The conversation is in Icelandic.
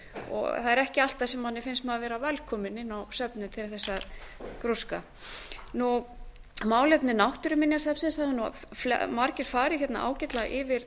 störfum það er ekki alltaf sem manni finnst maður vera velkominn inn á söfnin til þess að grúska málefni náttúruminjasafnsins það hafa margir farið hérna ágætlega yfir